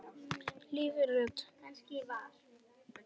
hvíslar röddin.